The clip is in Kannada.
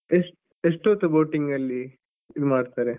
ಎಷ್ಟ~ ಎಷ್ಟೋತ್ತು boating ಅಲ್ಲಿ ಇದ್ ಮಾಡ್ತಾರೆ.